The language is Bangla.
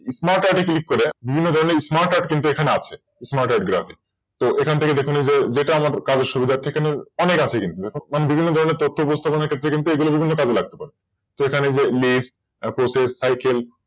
Smart art এ Click করে অন্য ধরনের Smart art কিন্তু এখানে আছে Smart art graphic তো এখান থেকে দেখে নিজে যেটা আমার কারো সুবিধার্থে অনেক আছে অনেক আছে কিন্তু দেখুন বিভিন্ন ধরনের তথ্য বুঝতে গেলে বিভিন্ন কাজে লাগতে পারে তো এখানে যে List তারপরে যে Cycle